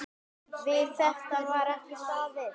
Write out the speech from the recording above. Við þetta var ekki staðið.